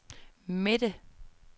midte